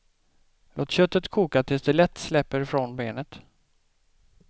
Låt köttet koka tills det lätt släpper från benet.